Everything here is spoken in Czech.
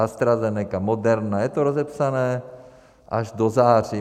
AstraZeneca, Moderna, je to rozepsané až do září.